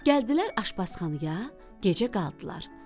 Gəldilər aşpazxanaya, gecə qaldılar.